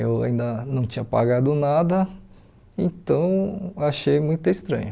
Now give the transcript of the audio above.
Eu ainda não tinha pagado nada, então achei muito estranho.